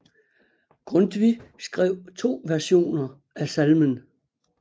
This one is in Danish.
Grundtvig skrev to versioner af salmen